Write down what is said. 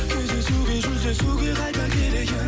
кездесуге жүздесуге қайта келейін